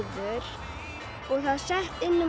og það er sett inn um